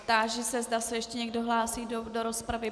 Táži se, zda se ještě někdo hlásí do rozpravy.